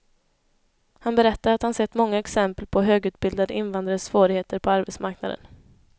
Han berättar att han sett många exempel på högutbildade invandrares svårigheter på arbetsmarknaden.